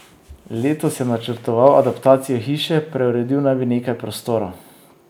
Letos je načrtoval adaptacijo hiše, preuredil naj bi nekaj prostorov.